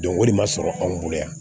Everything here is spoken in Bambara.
Dɔnko de ma sɔrɔ anw bolo yan